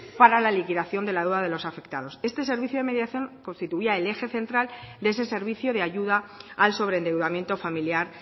para la liquidación de la deuda de los afectados este servicio de mediación constituía el eje central de ese servicio de ayuda al sobreendeudamiento familiar